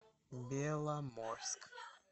беломорск